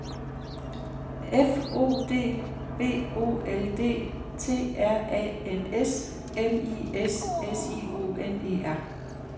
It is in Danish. F O D B O L D T R A N S M I S S I O N E R